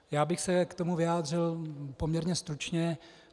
Já bych se k tomu vyjádřil poměrně stručně.